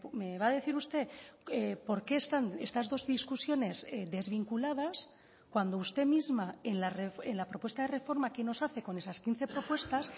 me va a decir usted por qué están estas dos discusiones desvinculadas cuando usted misma en la propuesta de reforma que nos hace con esas quince propuestas